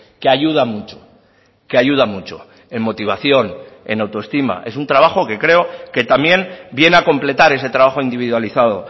que ayuda mucho que ayuda mucho en motivación en autoestima es un trabajo que creo que también viene a completar ese trabajo individualizado